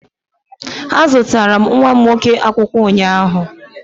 Azụtara m nwa m nwoke akwụkwọ ụnyaahụ.